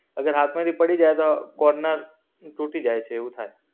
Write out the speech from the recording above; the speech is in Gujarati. અગર હાથ માંથી પડી જાય તો, કોર્નર, તૂટી જાય છે એવું થાય.